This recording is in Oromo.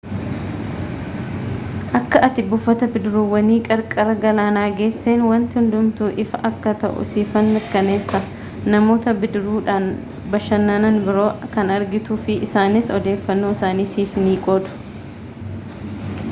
akka ati buufata bidiruuwwanii qarqara galaanaa geesseen wanti hundumtuu ifa akka ta'u siifan mirkaneessa namoota bidiruudhaan bashannanan biroo kan argituu fi isaanis odeeffannoo isaanii siif ni qoodu